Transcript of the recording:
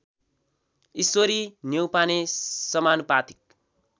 ईश्वरी न्यौपाने समानुपातिक